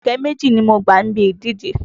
Ọ̀kẹ́ méjì ni mo gbà níbi ìdíje.